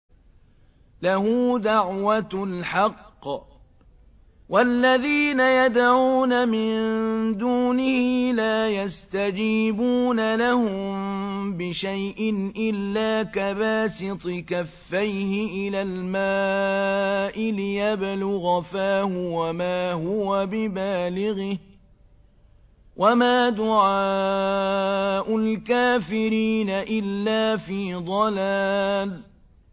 لَهُ دَعْوَةُ الْحَقِّ ۖ وَالَّذِينَ يَدْعُونَ مِن دُونِهِ لَا يَسْتَجِيبُونَ لَهُم بِشَيْءٍ إِلَّا كَبَاسِطِ كَفَّيْهِ إِلَى الْمَاءِ لِيَبْلُغَ فَاهُ وَمَا هُوَ بِبَالِغِهِ ۚ وَمَا دُعَاءُ الْكَافِرِينَ إِلَّا فِي ضَلَالٍ